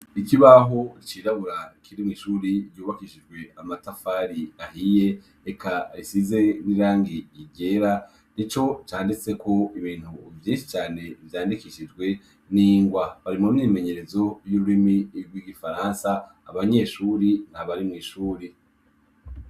Iki baho icirabura kirimw'ishuri ryubakishijwe amatafari ahiye eka risize nirangi igera ni co canditse ko ibintu vyinshi cane vyandikishijwe ni ngwa bari mu mimenyerezo y'irurimi irwo igifaransa abanyeshuri nta barimw'ishuri.